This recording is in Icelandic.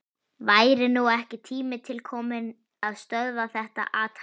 Væri nú ekki tími til kominn að stöðva þetta athæfi?